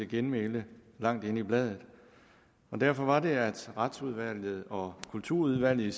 genmæle langt inde i bladet derfor var det at retsudvalget og kulturudvalget i